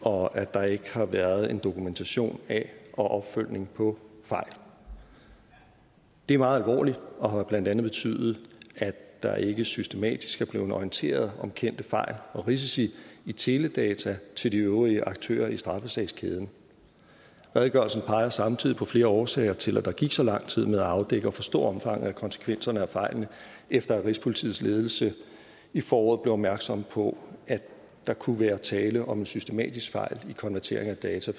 og at der ikke har været en dokumentation af og opfølgning på fejl det er meget alvorligt og har blandt andet betydet at der ikke systematisk er blevet orienteret om kendte fejl og risici i teledata til de øvrige aktører i straffesagskæden redegørelsen peger samtidig på flere årsager til at der gik så lang tid med at afdække og forstå omfanget af konsekvenserne af fejlene efter at rigspolitiets ledelse i foråret blev opmærksom på at der kunne være tale om en systematisk fejl i konvertering af data